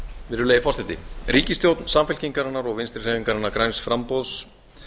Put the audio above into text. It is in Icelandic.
virðulegi forseti ríkisstjórn samfylkingarinnar og vinstri hreyfingarinnar græns framboðs